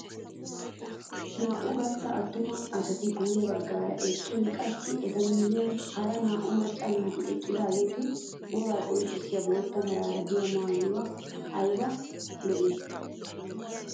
Naa"u gastta attuma asati guye baggaara eqqin qassi etu miyiyaan hara naa"u macca naati eqqidaageti wogaa qonccisiyaa bootta meraara de'iyaa maayoy ayba lo"ii!